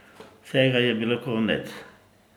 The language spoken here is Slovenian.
Vsega je bilo konec.